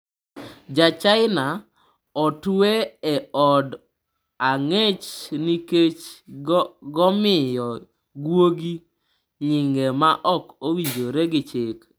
Ja-China otwe e od ang'ech nikech gomiyo guogi nyinge ma ok owinjore gi chik